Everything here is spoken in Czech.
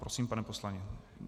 Prosím, pane poslanče.